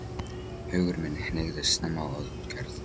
Hugur minn hneigðist snemma að útgerð.